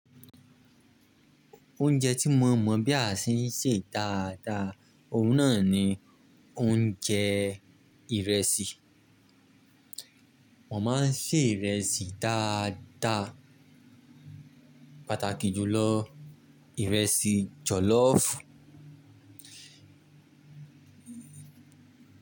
Oúnjẹ tí mo mọ̀ bí a ṣe ń ṣe dáadáa, òun náà ni oúnjẹ ìrẹsì. Mo máa ń sè ìrẹsì dáadáa, pàtàkì jù lọ ìrẹsì jọ̀lọ́fù.